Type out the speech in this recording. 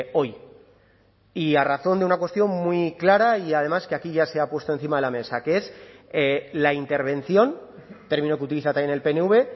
hoy y a razón de una cuestión muy clara y además que aquí ya se ha puesto encima de la mesa que es la intervención término que utiliza también el pnv